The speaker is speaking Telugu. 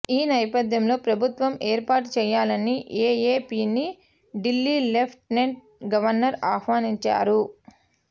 ఈ నేపథ్యంలో ప్రభుత్వం ఏర్పాటు చేయాలని ఏఏపీని ఢిల్లీ లెఫ్ట్ నెంట్ గవర్నర్ ఆహ్వానించారు